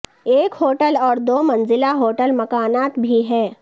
ایک ہوٹل اور دو منزلہ ہوٹل مکانات بھی ہے